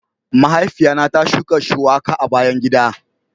Mahaifiya na ta shuka shuwaka a bayan gida.